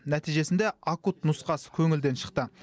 нәтижесінде акут нұсқасы көңілден шықты